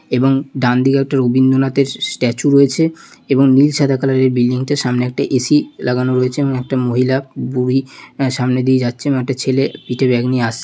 এবং ডান দিকে একটা রবীন্দ্রনাথের স স স্ট্যাচু রয়েছে এবং নীল সাদা কালারের বিল্ডিংটা সামনে একটা এ_সি লাগানো রয়েছে এবং একটা মহিলা বুড়ি আহ সামনে দিয়ে যাচ্ছে এবং একটা ছেলে পিঠে ব্যাগ নিয়ে আস --